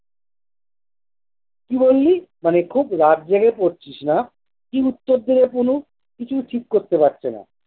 কি বললি মানে খুব রাত জেগে পড়ছিস না কি উত্তর দেবে পুলু কিচ্ছু ঠিক করতে পারছেনা।